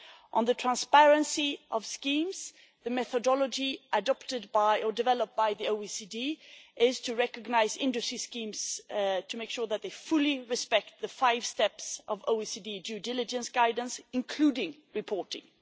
On the transparency of schemes, the methodology adopted by, or developed by, the OECD is to recognise industry schemes to make sure that they fully respect the five steps of OECD due diligence guidance, including reporting.